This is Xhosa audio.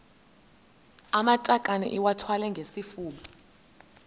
amatakane iwathwale ngesifuba